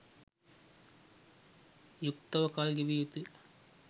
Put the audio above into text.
යුක්තව කල් ගෙවිය යුතුය.